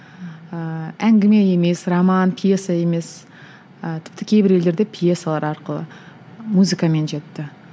ііі әңгіме емес роман пьеса емес ыыы тіпті кейбір елдерде пьесалар арқылы музыкамен жетті